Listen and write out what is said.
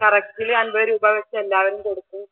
കറക്റ്റിൽ അൻപത് രൂപ വെച്ച് എല്ലാവരും കൊടുക്കും